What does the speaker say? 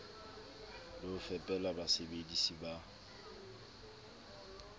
le ho fepela basebedisi ba